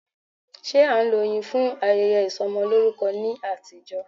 Ṣé a ń lo oyin fún ayẹyẹ Ìsọmọlórúkọ ní àtijọ́.